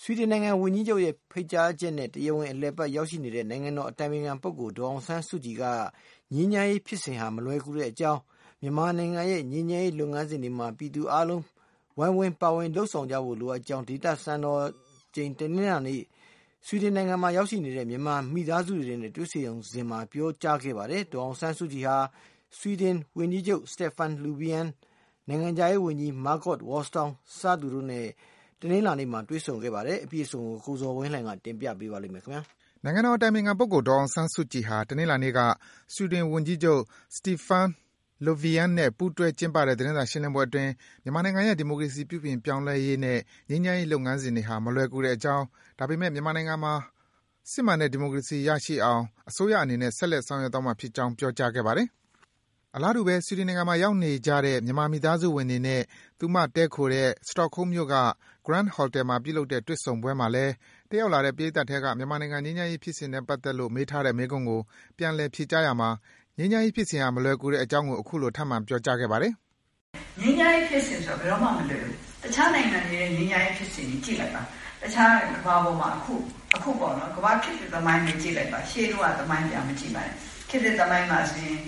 ဆွီဒင်နိုင်ငံဝန်ကြီးချုပ်ရဲ့ ဖိတ်ကြားချက်နဲ့ တရားဝင် အလည်အပတ် ရောက်ရှိနေတဲ့ နိုင်ငံတော်အတိုင်ပင်ခံပုဂ္ဂိုလ် ဒေါ်အောင်ဆန်းစုကြည်က ငြိမ်းချမ်းရေးဖြစ်စဉ်ဟာ မလွယ်ကူကြောင်း၊ မြန်မာနိုင်ငံရဲ့ ငြိမ်းချမ်းရေးလုပ်ငန်းစဉ်တွေမှာ ပြည်သူ အားလုံးက ဝိုင်းဝန်း ပါဝင် လုပ်ဆောင်ကြဖို့ လိုအပ်ကြောင်း ဒေသစံတော်ချိန် တနင်္လာနေ့က ဆွီဒင်နိုင်ငံမှာ ရောက်နေကြတဲ့ မြန်မာ မိသားစုတွေနဲ့ တွေ့ဆုံစဉ်မှာ ပြောကြားခဲ့ပါတယ်။ ဒေါ်အောင်ဆန်းစုကြည်ဟာ ဆွီဒင် ဝန်ကြီးချုပ် Stefan Löfven နဲ့ နိုင်ငံခြားရေးဝန်ကြီး Margot Wallström တို့နဲ့လည်း တနင်္လာနေ့က တွေ့ဆုံခဲ့ပါတယ်။ အပြည့်အစုံကိုတော့ ကိုဇော်ဝင်းလှိုင်က တင်ပြပေးပါမယ်။ နိုင်ငံတော်အတိုင်ပင်ခံပုဂ္ဂိုလ် ဒေါ်အောင်ဆန်းစုကြည်ဟာ တနင်္လာနေ့က ဆွီဒင်ဝန်ကြီးချုပ် Stefan Löfven နဲ့ ပူးတွဲ ကျင်းပတဲ့ သတင်းစာရှင်းလင်းပွဲအတွင်း မြန်မာနိုင်ငံရဲ့ ဒီမိုကရေစီ ပြုပြင်ပြောင်းလဲရေးနဲ့ ငြိမ်းချမ်းရေး လုပ်ငန်းစဉ်တွေဟာ မလွယ်ကူတဲ့အကြောင်း၊ ဒါပေမယ့် မြန်မာနိုင်ငံမှာ အစိုးရအနေနဲ့ စစ်မှန်တဲ့ ဒီမိုကရေစီ ရရှိအောင် ဆက်လက် ဆောင်ရွက်သွားမှာဖြစ်ကြောင်း ပြောကြားခဲ့ပါတယ်။ အလားတူပဲ ဆွီဒင်နိုင်ငံမှာ ရောက်နေကြတဲ့ မြန်မာ မိသားစုဝင်တွေနဲ့ သူမတည်းခိုတဲ့ Stockholm မြို့က Grand Hotel မှာ ပြုလုပ်တဲ့ တွေ့ဆုံပွဲမှာလည်း တက်ရောက်လာတဲ့ ပရိတ်သတ်ထဲက မြန်မာနိုင်ငံ ငြိမ်းချမ်းရေး ဖြစ်စဉ်နဲ့ ပတ်သက်လို့ မေးထားတဲ့ မေးခွန်းကို ပြန်လည် ဖြေကြားရာမှာ ငြိမ်းချမ်းရေးဖြစ်စဉ်ဟာ မလွယ်ကူတဲ့အကြောင်း အခုလို ထပ်မံ ပြောကြားခဲ့ပါတယ်။ “ငြိမ်းချမ်းရေးဖြစ်စဉ်ဆိုတာ ဘယ်တော့မှမလွယ်ဘူး တခြားနိုင်ငံတွေရဲ့ ငြိမ်းချမ်းရေးဖြစ်စဉ်ကို ကြည့်လိုက်ပါ။ ကမ္ဘာပေါ်မှာ အခုဖြစ်နေတဲ့ သမိုင်း၊ ရှေးတုန်းက သမိုင်းတွေကိုကြည့်လိုက်ပါ။ ခေတ်သစ်သမိုင်းမှာဆိုရင်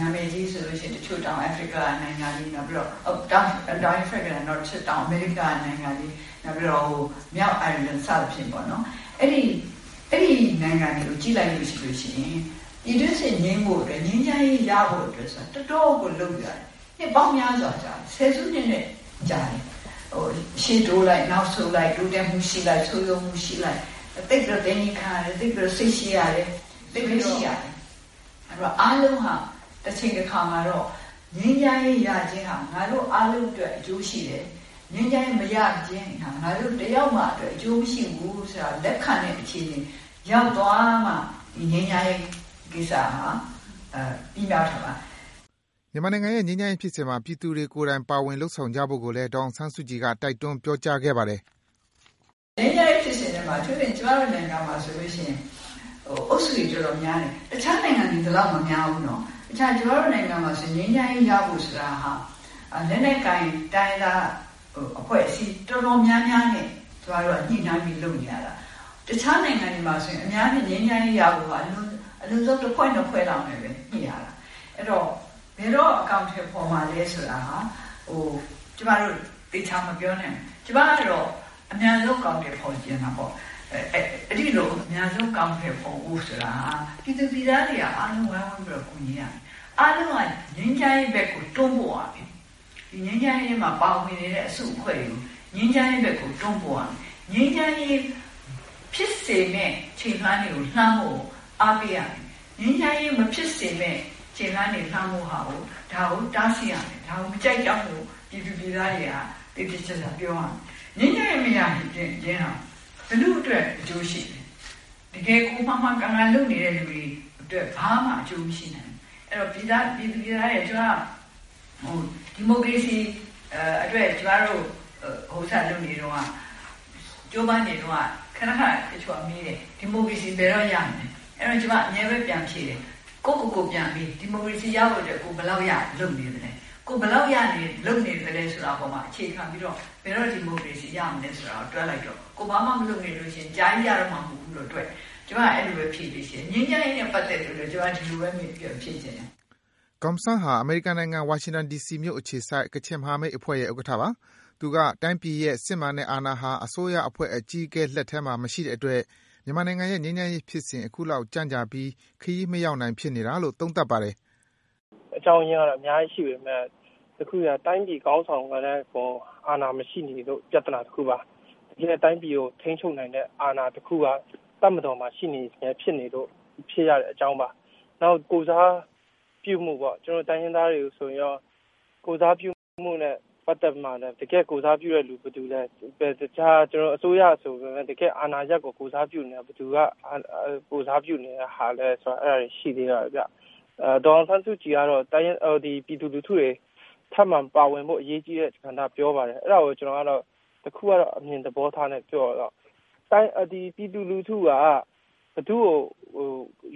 နာမည်ကြီးဆိုရင် တောင်အာဖရိကနိုင်ငံတွေ ၊ တချို့ တောင်အမေရိကနိုင်ငံတွေ ၊ မြောက်အိုင်ရာလန်စသဖြင့်ပေါ့နော် ၊အဲဒီနိုင်ငံတွေကို ကြည့်လိုက်ရင် ပြည်တွင်းစစ်ငြိမ်းဖို့အတွက် ငြိမ်းချမ်းရေး ရဖို့အတွက်ဆိုတာက တော်တော့ကိုလုပ်ယူရတယ်။ နှစ်ပေါင်းများစွာကြာတယ်။ ဆယ်စုနှစ်နဲ့ ကြာတယ်။ ရှေ့တိုးလိုက် နောက်ဆုတ်လိုက်နဲ့ တိုးတက်မှုရှိလိုက် ဆုတ်ယုတ်မှုရှိလိုက်နဲ့ သိပ်ပြီးတော့ သည်းခံရတယ်၊ စိတ်ရှည်ရတယ်။ အားလုံးဟာ တချိန်တခါမှာတော့ ငြိမ်းချမ်းရေးရခြင်းဟာ ငါတို့အားလုံးအတွက်အကျိုးရှိတယ်။ ငြိမ်းချမ်းရေးမရခြင်းဟာ ငါတို့တယောက်မှအတွက် အကျိုးမရှိဘူးဆိုတာကို လက်ခံတဲ့အခြေအနေ ရောက်သွားမှ ဒီငြိမ်းချမ်းရေးကိစ္စဟာ အောင်မြင်မှာဖြစ်ပါတယ်။” မြန်မာနိုင်ငံရဲ့ ငြိမ်းချမ်းရေးဖြစ်စဉ်မှာ ပြည်သူတွေကိုယ်တိုင် ပါဝင်လုပ်ဆောင်ကြဖို့ကိုလည်း ဒေါ်အောင်ဆန်းစုကြည်က တိုက်တွန်း ပြောကြားခဲ့ပါတယ်။ "ငြိမ်းချမ်းရေးဖြစ်စဉ်ထဲမှာ အထူးသဖြင့် ကျမတို့နိုင်ငံမှာဆိုရင် အုပ်စုတွေတော်တော်များတယ်။ တခြားနိုင်ငံမှာ ဒီလောက်မများဘူးနော် ။ ကျမတို့နိုင်ငံမှာ ငြိမ်းချမ်းရေးရဖို့ဆိုတာဟာ လက်နက်ကိုင်တိုင်းရင်းသားအဖွဲ့အစည်း တော်တော်များများနဲ့ ကျမတို့က ညှိနှိုင်းပြီးလုပ်နေရတာ။ တခြားနိုင်ငံတွေမှာဆိုရင် အများကြီးငြိမ်းချမ်းရေးရဖို့က အလွန်ဆုံး ၁ ဖွဲ့ ၂ ဖွဲ့လောက်နဲ့ ညှိရတယ်။ အဲဒီတော့ ဘယ်တော့ အကောင်အထည်ဖော်မှာလည်းဆိုတာ ကျမတို့သေချာမပြောနိုင်ဘူး။ ကျမကတော့ အမြန်ဆုံးအကောင်အထည်ဖော်ချင်တာပေါ့ အဲဒီလို အမြန်ဆုံး အကောင်အထည်ဖော်ဖို့ ဆိုတာဟာ ပြည်သူပြည်သားတွေက အားလုံးဝိုင်းပြီးကူညီရမယ်။ အားလုံးငြိမ်းချမ်းရေးဘက်ကို တွန်းပို့ရမယ်။ ဒီငြိမ်းချမ်းရေးဘက်မှာ ပါဝင်နေတဲ့ အစုအဖွဲ့တွေကို ငြိမ်းချမ်းရေးဘက်ကို တွန်းပို့ရမယ်။ ငြိမ်းချမ်းရေးဖြစ်စေမယ့် ခြေလှမ်းတွေကို လှမ်းဖို့ အားပေးရမယ်။ ငြိမ်းချမ်းရေးမ ဖြစ်စေမယ့် ခြေလှမ်းတွေကို လှမ်းဖို့ဟာတွေကို တားဆီးရမယ် ၊ ဒါကိုမကြိုက်ကြောင်းကို ပြည်သူပြည်သားတွေက သေသေချာချာ ပြောရမယ်။ ငြိမ်းချမ်းရေးမရခြင်းဟာ ဘယ်သူ့အတွက်အကျိုးရှိသလဲ ၊ တကယ်မှန်မှန်ကန်ကန်လုပ်နေတဲ့သူတွေအတွက် ဘာမှအကျိုးမရှိနိုင်ဘူး အဲဒီတော့ပြည်သူပြည်သားတွေကို ကျမ ဒီမိုကရေစီ အတွက်ကျမတို့ ကြိုးပမ်းလုပ်နေတုန်းက ကျမ ခဏခဏမေးတယ် ဒီမိုကရေစီဘယ်တော့ရမလဲ ၊ အဲဒီတော့ ကျမအမြဲတမ်းပြန်ဖြေတယ်၊ ကိုယ့်ကိုယ်ပြန်မေး ဒီမိုကရေစီရဖို့အတွက် ကိုယ်ဘယ်လောက်လုပ်နေသလဲ ၊ ဘယ်လောက်လုပ်နေသလဲဆိုတာအပေါ်မှာ အခြေခံပြီးတော့ ဘယ်တော့ဒီမိုကရေစီရမလဲဆိုတာကို တွက်လိုက်တော့ ။ ကိုယ်က ဘာမှ မလုပ်ရင် အကြာကြီးမှ ရတော့မှာတွက် လို့ ကျမအဲဒီလိုဖြေချင်တယ်။ ငြိမ်းချမ်းရေးနဲ့ ပတ်သက်လို့လည်း ကျမ ဒီလိုပဲ ပြန်ဖြေချင်တယ်။" Gum San ဟာ အမေရိကန်နိုင်ငံ၊ ဝါရှင်တန် ဒီစီမြို့အခြေစိုက် ကချင်မဟာမိတ်အဖွဲ့ရဲ့ ဥက္ကဋ္ဌပါ။ သူက တိုင်းပြည်ရဲ့ စစ်မှန်တဲ့အာဏာဟာ အစိုးရအဖွဲ့ အကြီးအကဲလက်ထဲမှာ မရှိတဲ့အတွက် မြန်မာနိုင်ငံရဲ့ ငြိမ်းချမ်းရေးဖြစ်စဉ် အခုလောက် ကြန့်ကြာပြီး ခရီးမရောက်နိုင် ဖြစ်နေရတာလို့ သုံးသပ်ပါတယ်။ “ အကြောင်းအရင်းက အများကြီးရှိပေမယ့် တခုပဲ တိုင်းပြည်ခေါင်းဆောင်ကလည်း စစ်တပ်အပေါ် အာဏာမရှိနေလို့ ပြဿနာတခုပါ ။ တိုင်းပြည်ကိုထိန်းချုပ်နိုင်တဲ့ အာဏာတခုက တပ်မတော်မှာ ရှိနေဆဲဖြစ်နေလို့ ဖြစ်ရတဲ့အကြောင်းပါ။ နောက်ကိုယ်စားပြုမှုပေါ့ ကျနော်တို့ တိုင်းရင်းသားတွေကိုဆိုရင်ရော ကိုယ်စားပြုမှုနဲ့ ပတ်သက်ပြီးတော့လည်း တကယ့်ကိုယ်စားပြုတဲ့လူ ဘယ်သူလဲ အစိုးရဆိုပေမယ့် တကယ့်အာဏာ ကို ကိုယ်စားပြုနေတာက ဘယ်သူက ကိုယ်စားပြုနေတာဆိုတာလည်း ရှိသေးတယ်ခင်ဗျ။ ဒေါ်အောင်ဆန်းစုကြည်ကတော့ ပြည်သူလူထုတွေ ထပ်မံပါဝင်ဖို့အရေးကြီးတဲ့ ကဏ္ဍပြောပါတယ်။ အဲဒါကို ကျနော့်အမြင်သဘောထားနဲ့ ပြောမယ်ဆိုရင် ပြည်သူလူထုက ဘယ်သူ့ကို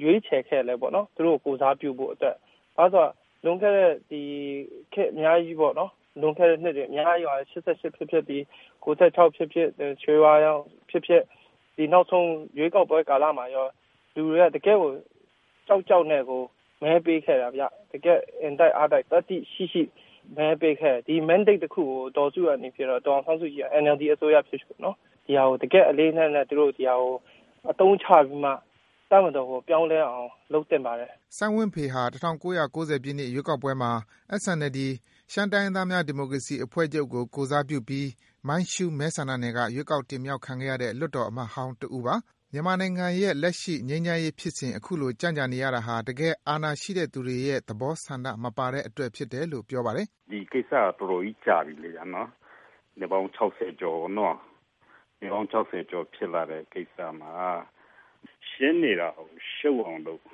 ရွေးချယ်ခဲ့သလဲပေါ့နော်။ သူတို့ကို ကိုယ်စားပြုဖို့အတွက်၊ ဘာဖြစ်လို့လဲဆိုတော့ လွန်ခဲ့တဲ့ ခေတ်အများကြီးပေါ့နော် ၊ လွန်ခဲ့တဲ့ နှစ်တွေအများကြီးပါပဲ ၈၈ ဖြစ်ဖြစ်၊ ၉၆ ဖြစ်ဖြစ်၊ ရွှေဝါရောင် ဖြစ်ဖြစ်၊ဒီနောက်ဆုံးရွေးကောက်ပွဲကာလမှာရော လူတွေက တကယ့်ကို ကြောက်ကြောက်နဲ့ တကယ့်ကို မဲပေးခဲတာ အင်တိုက်အားတိုက်နဲ့ သတ္တိရှိရှိမဲပေးခဲ့တာခင်ဗျ။ ဒီ Mandate တခုကို ဒေါ်အောင်ဆန်းစုကြည်ဖြစ်ဖြစ် NLD အစိုးရဖြစ်ဖြစ် ဒီဟာကို တကယ့်အလေးအနက်နဲ့ ဒါကို အသုံးချပြီးမှ တပ်မတော်ကို ပြောင်းလဲအောင် လုပ်သင့်ပါတယ်။” စိုင်းဝင်းဖေဟာ ၁၉၉၀ ပြည့်နှစ် ရွေးကောက်ပွဲမှာ SNLD ရှမ်းတိုင်းရင်းသားများ ဒီမိုကရေစီအဖွဲ့ချုပ်ကို ကိုယ်စားပြုပြီး မှိုင်းရှူး မဲဆန္ဒနယ်က ရွေးကောက် တင်မြောက်ခံခဲ့ရတဲ့ လွှတ်တော်အမတ်ဟောင်းပါ။ သူက မြန်မာနိုင်ငံရဲ့ လက်ရှိ ငြိမ်းချမ်းရေးဖြစ်စဉ် အခုလို ကြန့်ကြာ နေရတာဟာ တကယ် အာဏာရှိတဲ့သူတွေရဲ့ သဘော ဆန္ဒမပါတဲ့အတွက်ဖြစ်လို့ ပြောပါတယ်။ “ဒီကိစ္စကတော်တော်ကြီး ကြာပြီလေနော်၊ နှစ်ပေါင်း ၆၀ ကျော်ဖြစ်လာတဲ့ ကိစ္စမှာ ရှင်းနေတာကို ရှုပ်အောင်လုပ်၊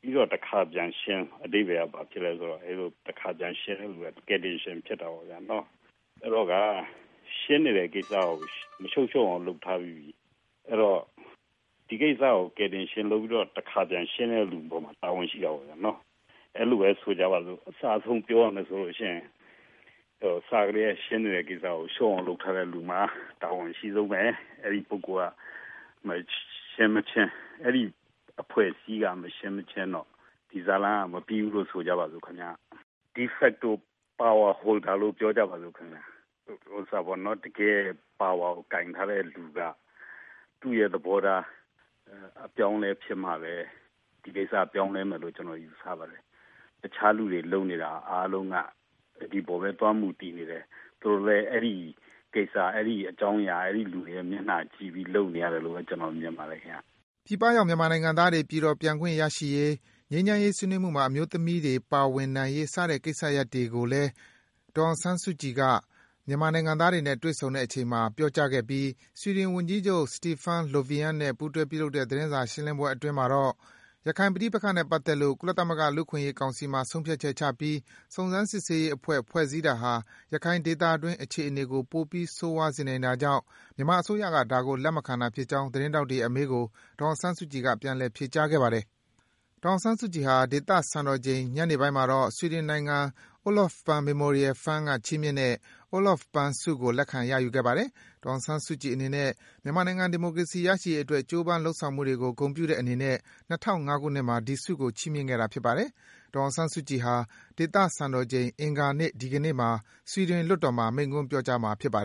ပြီးတော့ တခါပြန်ရှင်း အဓိပ္ပါယ်က ဘာဖြစ်လဲဆိုတော့ တခါပြန်ရှင်းတဲ့လူက ကယ်တင်ရှင်ဖြစ်တာပေါ့ခင်ဗျ။ အဲဒီတော့ ရှင်းနေတဲ့ ကိစ္စကို မရှုပ်ရှုပ်အောင်လုပ်ထားပြီးတော့ ဒီကိစ္စကို ကယ်တင်ရှင်လုပ်ပြီးတော့ တခါပြန်ရှင်းတဲ့လူအပေါ်မှာ တာဝန်ရှိတာပေါ့နော် ။ အဲလိုပဲ ဆိုပါစို့ အစအဆုံးပြောရမယ်ဆိုရင် အစကတည်းက ရှင်းနေတဲ့ ကိစ္စကို ရှုပ်အောင်လုပ်ထားတဲ့လူမှာ တာဝန်အရှိဆုံးပဲ အဲဒီလူက မရှင်းမချင်း၊ အဲဒီအဖွဲ့အစည်းက မရှင်းမချင်းတော့ ဇတ်လမ်းက မပြီးဘူးဆိုကြပါဆို့၊ De facto Power holder တကယ့် ပါဝါကို ကိုင်ထားတဲ့လူက သူ့သဘောထားအပြောင်းအလဲဖြစ်မှပဲ ဒီကိစ္စပြောင်းလဲမယ်လို့ ကျနော်ယူဆပါတယ်။ တခြားကိစ္စတွေအားလုံးလုပ်နေတာက ဒီအပေါ်မှာပဲ သွားမူတည်နေတယ်။ သူတို့လည်း အဲဒီကိစ္စ၊ အဲဒီအကြောင်းအရာ၊ အဲဒီလူတွေမျက်နှာကိုကြည့်ပြီးလုပ်နေရတယ်လို့ မြင်ပါတယ်ခင်ဗျ။” ပြည်ပရောက် မြန်မာနိုင်ငံသားတွေ ပြည်တော်ပြန်ခွင့် ရရှိရေး၊ ငြိမ်းချမ်းရေး ဆွေးနွေးမှုမှာ အမျိုးသမီးတွေ ပါဝင်နိုင်ရေး စတဲ့ ကိစ္စရပ်တွေကိုလည်း ဒေါ်အောင်ဆန်းစုကြည်က မြန်မာနိုင်ငံသားတွေနဲ့ တွေ့ဆုံချိန်မှာ ပြောကြားခဲ့ပြီး ဆွီဒင် ဝန်ကြီးချုပ် Stefan Löfven နဲ့ ပူးတွဲ ပြုလုပ်တဲ့ သတင်းစာရှင်းလင်းပွဲအတွင်း ရခိုင်ပဋိပက္ခနဲ့ပတ်သက်လို့ ကုလသမဂ္ဂ လူ့အခွင့်အရေးကောင်စီမှာ ဆုံးဖြတ်ချက်ချပြီး စုံစမ်းစစ်ဆေးရေးအဖွဲ့ ဖွဲ့စည်းတာဟာ ရခိုင်ဒေသတွင်း အခြေအနေကို ပိုပြီး ဆိုးရွား စေနိုင်တာကြောင့် မြန်မာအစိုးရက ဒါကို လက်မခံတာဖြစ်ကြောင်း သတင်းထောက်တွေရဲ့ အမေးကို ဒေါ်အောင်ဆန်းစုကြည်က ပြန်လည် ဖြေကြားခဲ့ပါတယ်။ ဒေါ်အောင်ဆန်းစုကြည်ဟာ ဒေသစံတော်ချိန် ညနေပိုင်းမှာတော့ ဆွီဒင်နိုင်ငံ Olof Palme Memorial Fund က ချီးမြှင့်ခဲ့တဲ့ Olof Palme ဆုကို လက်ခံ ရယူခဲ့ပါတယ်။ ဒေါ်အောင်ဆန်းစုကြည်အနေနဲ့ မြန်မာနိုင်ငံ ဒီမိုကရေစီ ရရှိရေးအတွက် ကြိုးပမ်း လုပ်ဆောင်မှုတွေကို ဂုဏ်ပြုတဲ့အနေနဲ့ ၂၀၀၅ ခုနှစ်မှာ ဒီဆုကို ချီးမြင့်ခဲ့တာ ဖြစ်ပါတယ်။ ဒေါ်အောင်ဆန်းစုကြည်ဟာ ဒေသစံတော်ချိန် အင်္ဂါနေ့မှာ ဆွီဒင်လွှတ်တော်မှာ မိန့်ခွန်း ပြောကြားမှာ ဖြစ်ပါတယ်